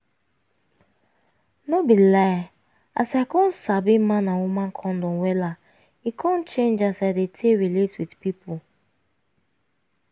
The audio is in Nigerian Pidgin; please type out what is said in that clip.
no be lie as i come sabi man and woman condom wellla e come change as i dey take relate with pipu